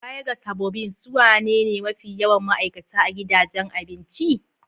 Baya ga sabobin, su wanene mafi yawan ma'aikata a gidajen abinci?